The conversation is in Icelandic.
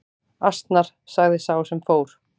Asnar sagði sá sem fór.